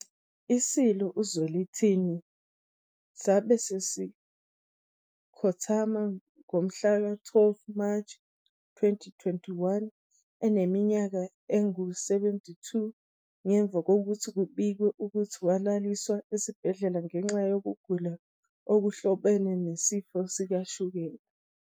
ISilo uZwelithini sabe sesikhothamba ngomhlaka-12 March 2021, eneminyaka engu-72, ngemuva kokuthi kubikwe ukuthi walaliswa esibhedlela ngenxa yokugula okuhlobene nesifo sikashukela.